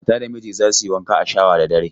Mata da miji za su yi wanka a shawa da dare.